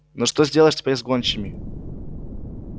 но что сделаешь теперь с гончими